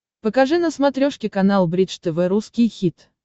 покажи на смотрешке канал бридж тв русский хит